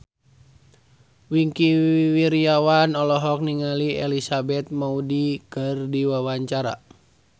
Wingky Wiryawan olohok ningali Elizabeth Moody keur diwawancara